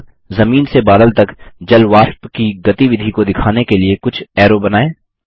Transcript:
अब जमीन से बादल तक जलवाष्प की गतिविधि को दिखाने के लिए कुछ ऐरो बनाएँ